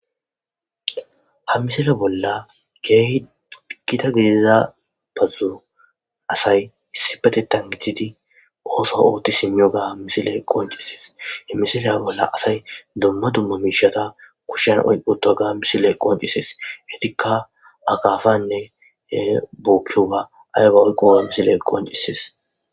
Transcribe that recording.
Ha mmisile bolla geehi dudikita gediza bazzon asay issi batetan gididi ooso ootti simiyo ga misile qoncisees hemmisileya bolla asay domma dumma miishata kushen oyqqoto gaam misile qoncisees hetikka akafanne bookkioa aygawkqowa misile qoncisees.